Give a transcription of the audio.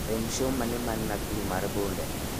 en show mane man nakuru mar bunde